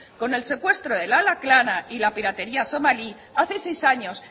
con el secuestro del alakrana y la piratería somalí hace seis años